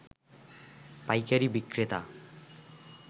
পাইকারী বিক্রেতা